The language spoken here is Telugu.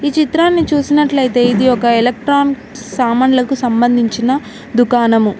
చిత్రాన్ని చూసినట్లయితే ఇది ఒక ఎలక్ట్రాన్ సామాన్లకు సంబంధించిన దుకాణము.